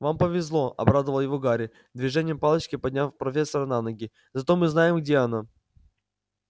вам повезло обрадовал его гарри движением палочки подняв профессора на ноги зато мы знаем где она